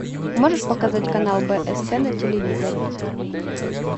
можешь показать канал бст на телевизоре